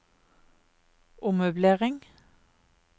ommøblering